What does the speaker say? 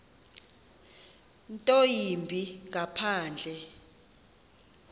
nto yimbi ngaphandle